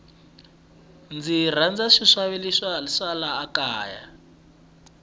ndzi rhandza swi xavisiwa swa laha kaya